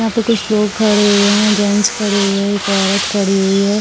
यहाँ पे कुछ लोग खड़े हुए हैं जेंटस खड़े हुए हैं एक औरत खड़ी हुई है।